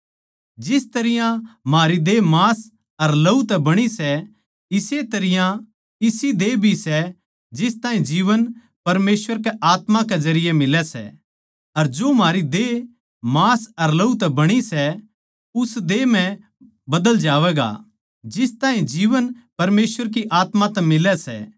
जिस तरियां म्हारी देह मांस अर लहू तै बणी सै इस्से तरियां इसी देह भी सै जिस ताहीं जीवन परमेसवर के आत्मा के जरिये मिलै सै अर जो म्हारी देह मांस अर लहू तै बणी सै उस देह म्ह बदल जावैगा जिस ताहीं जीवन परमेसवर की आत्मा तै मिलै सै